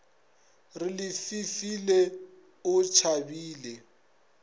re le fefile o tšhabele